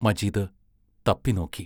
Majeed തപ്പിനോക്കി.